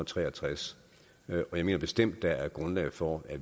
tre og tres og jeg mener bestemt der er grundlag for at